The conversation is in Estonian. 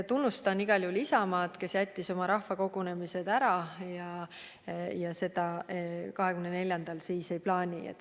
Tunnustan igal juhul Isamaad, kes jättis oma rahvakogunemised ära ja neid 24. veebruaril teha ei plaani.